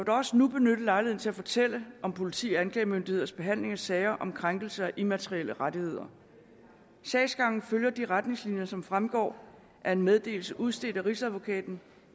også nu benytte lejligheden til at fortælle om politi og anklagemyndigheders behandling af sager om krænkelse af immaterielle rettigheder sagsgangen følger de retningslinjer som fremgår af en meddelelse udstedt af rigsadvokaten